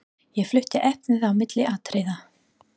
Ég flutti efnið á milli atriða.